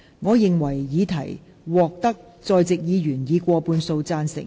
我認為議題獲得在席議員以過半數贊成。